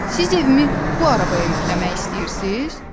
Siz evimi bu arabaya yükləmək istəyirsiz?